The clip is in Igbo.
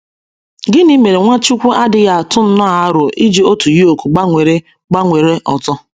Gịnị mere Nwachukwu adịghị atụ nnọọ aro iji otu yoke gbanwere gbanwere ọzọ?